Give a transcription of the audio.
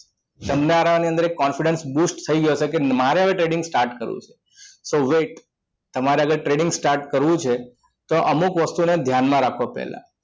તમને અંદર એક confidence boost થઈ ગયો હશે કે મારે હવે trading start કરવું છે તો wait તમારે આગળ trading start કરવું છે તો અમુક વસ્તુને ધ્યાનમાં રાખો પહેલા